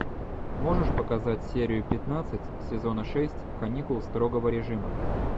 можешь показать серию пятнадцать сезона шесть каникул строгого режима